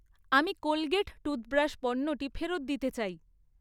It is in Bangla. আমি কোলগেট টুথব্রাশ পণ্যটি ফেরত দিতে চাই।